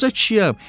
Qoca kişiyəm.